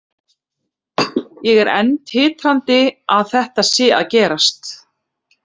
Ég er enn titrandi að þetta sé að gerast,